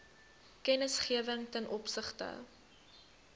kennisgewing ten opsigte